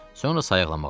Sonra sayıqlamağa başladı.